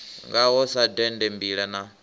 ngaho sa dende mbila na